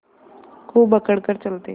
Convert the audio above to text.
खूब अकड़ कर चलते